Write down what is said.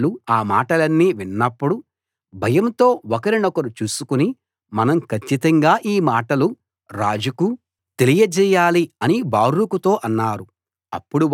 వాళ్ళు ఆ మాటలన్నీ విన్నప్పుడు భయంతో ఒకరినొకరు చూసుకుని మనం కచ్చితంగా ఈ మాటలు రాజుకు తెలియజేయాలి అని బారూకుతో అన్నారు